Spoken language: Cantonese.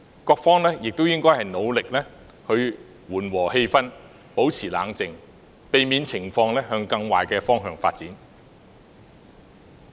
各方亦應努力緩和氣氛，保持冷靜，避免情況向更壞的方向發展。